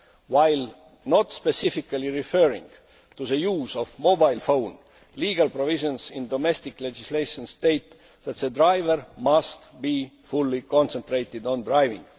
While not specifically referring to the use of mobile phones, legal provisions in domestic legislation state that drivers must be fully concentrated on driving.